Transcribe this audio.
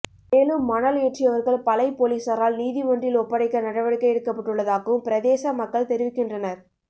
மேலும் மணல் ஏற்றியவர்கள் பளை பொலிசாரால் நீதி மன்றில் ஒப்படைக்க நடவடிக்கை எடுக்கப்பட்டுள்ளதாகவும் பிரதேச மக்கள் தெரிவிக்கின்றனர்